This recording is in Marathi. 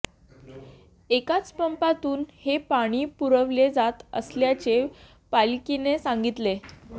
एकाच पंपातून हे पाणी पुरवले जात असल्याचे पालिकेने सांगितले